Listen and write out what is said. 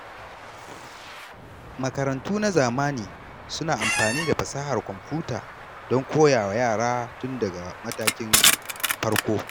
Makarantu na zamani suna amfani da fasahar kwamfuta don koya wa yara tun daga matakin farko.